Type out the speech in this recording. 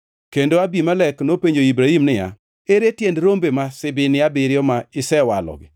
kendo Abimelek nopenjo Ibrahim niya, “Ere tiend rombe ma sibini abiriyo ma isewalogi?”